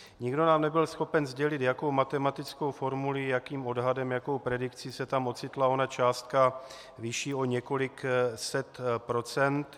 Nikdo nám nebyl schopen sdělit, jakou matematickou formulí, jakým odhadem, jakou predikcí se tam ocitla ona částka vyšší o několik set procent.